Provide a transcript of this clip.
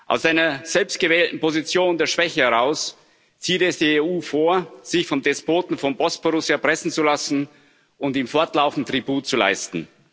Aus einer selbst gewählten Position der Schwäche heraus zieht es die EU vor, sich vom Despoten vom Bosporus erpressen zu lassen und ihm fortlaufend Tribut zu leisten.